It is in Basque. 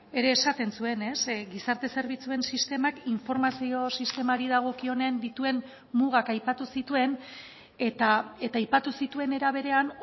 ere esaten zuen gizarte zerbitzuen sistemak informazio sistemari dagokionen dituen mugak aipatu zituen eta aipatu zituen era berean